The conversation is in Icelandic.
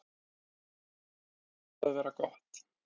Það er búið að vera gott.